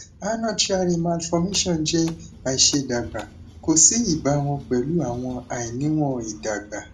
arnold chiari malformation jẹ àìṣédàgbà kò sí ìbámu pẹlu awọn àìníwọn ìdàgbà